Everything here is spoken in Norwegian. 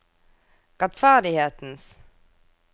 rettferdighetens